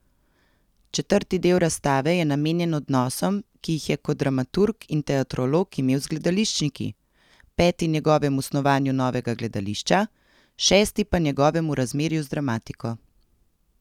Četrti del razstave je namenjen odnosom, ki jih je kot dramaturg in teatrolog imel z gledališčniki, peti njegovemu snovanju novega gledališča, šesti pa njegovemu razmerju z dramatiko.